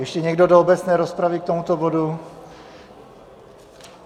Ještě někdo do obecné rozpravy k tomuto bodu?